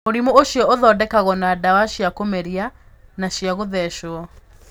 Mũrimũ ũcio ũthondekagwo na ndawa cia kũmeria na cia gũthecwo.